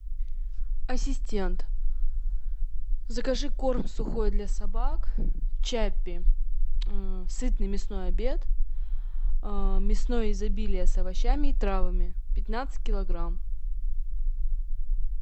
ассистент закажи корм сухой для собак чаппи сытный мясной обед мясное изобилие с овощами и травами пятнадцать килограмм